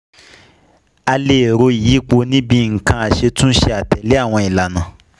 A lè ro ìyípo ní bíi nǹkan aṣetúnṣe àtèlè awon ìlànà